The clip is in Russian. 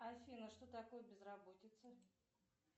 афина что такое безработица